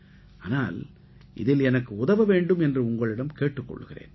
ஆனால் இதில் எனக்கு உதவ வேண்டும் என்று உங்களிடம் கேட்டுக் கொள்கிறேன்